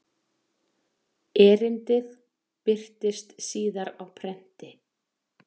Erindið birtist síðar á prenti.